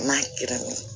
N'a kɛra ne ye